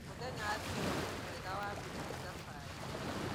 Mũthenya wa thigũkũ nĩ mwega wa gũthiĩ thabarĩ